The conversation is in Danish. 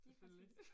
Selvfølgelig